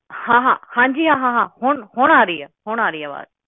ਹਾਂ ਹਾਂ ਹਾਂਜੀ ਹਾਂ ਹਾਂ ਹੁਣ ਹੁਣ ਆ ਰਹੀ ਆ ਹੁਣ ਆ ਰਹੀ ਆ ਆਵਾਜ਼